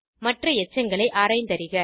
மற்ற எச்சங்களை ஆராய்ந்தறிக